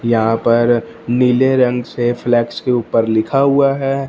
यहां पर नीले रंग से फ्लेक्स के ऊपर लिखा हुआ है।